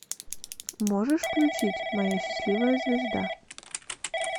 можешь включить моя счастливая звезда